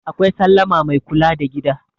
akwai sallama Mai kula da gida